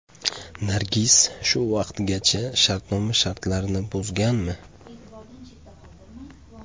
Nargiz shu vaqtgacha shartnoma shartlarini buzganmi?